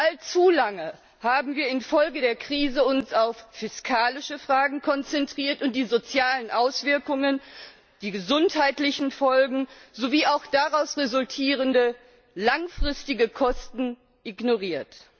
Allzu lange haben wir uns infolge der Krise auf fiskalische Fragen konzentriert und die sozialen Auswirkungen, die gesundheitlichen Folgen sowie auch daraus resultierende langfristige Kosten ignoriert.